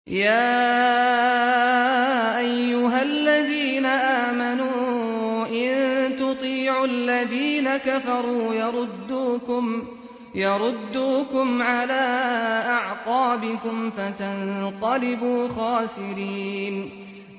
يَا أَيُّهَا الَّذِينَ آمَنُوا إِن تُطِيعُوا الَّذِينَ كَفَرُوا يَرُدُّوكُمْ عَلَىٰ أَعْقَابِكُمْ فَتَنقَلِبُوا خَاسِرِينَ